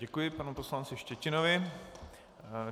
Děkuji panu poslanci Štětinovi.